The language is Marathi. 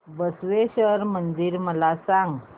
बसवेश्वर मंदिर मला सांग